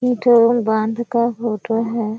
ई बाँध का फोटो है।